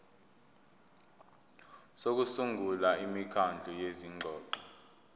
sokusungula imikhandlu yezingxoxo